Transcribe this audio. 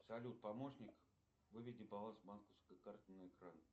салют помощник выведи баланс банковской карты на экран